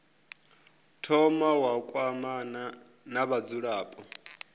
thoma wa kwamana na vhadzulapo